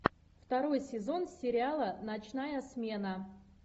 второй сезон сериала ночная смена